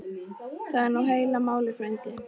Það er nú heila málið frændi.